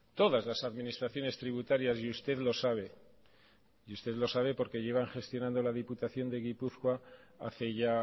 todas las administraciones tributarias y usted lo sabe y usted lo sabe porque llevan gestionando la diputación de gipuzkoa hace ya